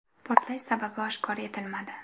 Portlash sababi oshkor etilmadi.